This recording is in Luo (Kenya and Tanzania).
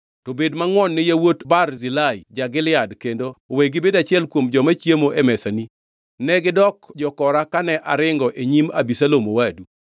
To bed mangʼwon ni yawuot Barzilai ja-Gilead kendo we gibed achiel kuom joma chiemo e mesani. Negidok jokora kane aringo e nyim Abisalom owadu.